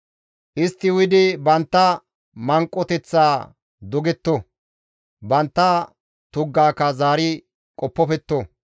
Istti uyidi bantta manqoteththa dogetto; bantta tuggaka zaari qoppofetto.